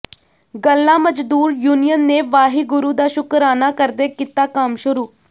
ਗੱਲਾ ਮਜ਼ਦੂਰ ਯੂਨੀਅਨ ਨੇ ਵਾਹਿਗੁਰੂ ਦਾ ਸ਼ੁਕਰਾਨਾ ਕਰਦੇ ਕੀਤਾ ਕੰਮ ਸ਼ੁਰੂ